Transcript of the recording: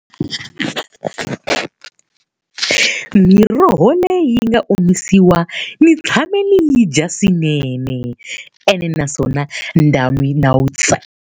Miroho leyi yi nga omisiwa ni tshame ni yi dya swinene, ene naswona .